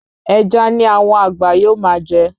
Ẹja ni àwọn àgbà yóò máa jẹ